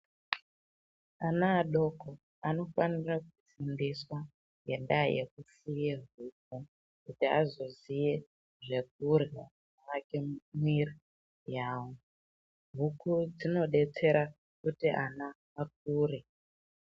Ana adoko anofanira kufundiswa ngendaa yekupfuye huku, kuti azoziye zvekurya zvinoake mwiiri yawo. Huku dzinodetsera kuti ana akure.